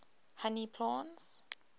honey plants